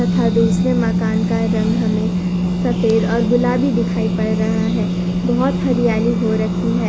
तथा दूसरे माकान का रंग हमें सफेद और गुलाबी दिखाई पड़ रहा है। बहोत हरियाली हो रखी है।